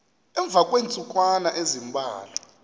emva kweentsukwana ezimbalwa